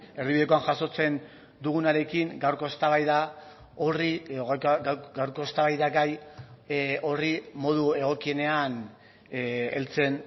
erdibidekoan jasotzen dugunarekin gaurko eztabaida horri edo gaurko eztabaidagai horri modu egokienean heltzen